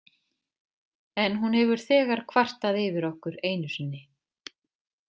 En hún hefur þegar kvartað yfir okkur einu sinni.